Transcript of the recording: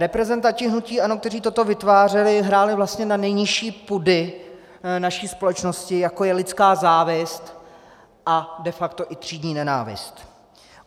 Reprezentanti hnutí ANO, kteří toto vytvářeli, hráli vlastně na nejnižší pudy naší společnosti, jako je lidská závist a de facto i třídní nenávist.